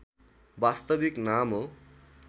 वास्तविक नाम हो